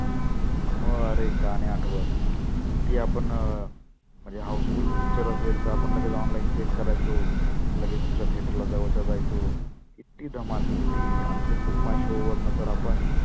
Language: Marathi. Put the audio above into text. मग आरे का नाही आठवत? ती आपण अं म्हणजे house full picture असेल तर आपण लगेच online check करायचो लगेच दुसऱ्या theater ला जवळच्या जायचो. किती धमाल किती, आणि ते book my show वरनं तर आपण